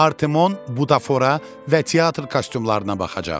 Artemon Budafota və teatr kostyumlarına baxacaq.